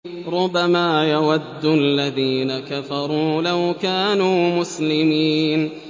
رُّبَمَا يَوَدُّ الَّذِينَ كَفَرُوا لَوْ كَانُوا مُسْلِمِينَ